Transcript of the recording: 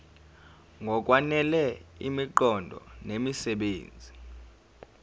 ngokwanele imiqondo nemisebenzi